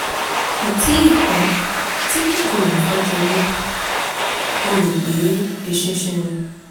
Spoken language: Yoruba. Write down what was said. kò tíì pẹ́ tí kòkòrò kan jẹ mí; mo rò pé eṣinṣin ni